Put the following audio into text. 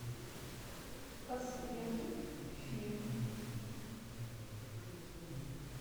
посоветуй фильм